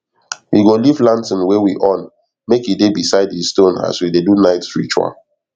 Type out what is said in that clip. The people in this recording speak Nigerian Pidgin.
we go leave lantern wey we on make e dey beside di stone as we dey do night ritual